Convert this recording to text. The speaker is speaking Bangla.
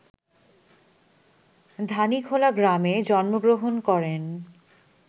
ধানীখোলা গ্রামে জন্মগ্রহণ করেন